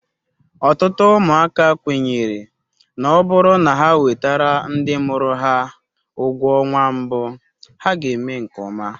Ọtụtụ ụmụaka kwenyere na ọ bụrụ na ha wetara ndị mụrụ ha ụgwọ ọnwa mbụ ha ga-eme nke ọma.